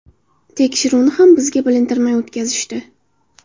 Tekshiruvni ham bizga bilintirmay o‘tkazishdi.